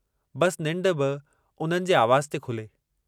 बस निंड बि हुननि जे आवाज़ु ते खुले।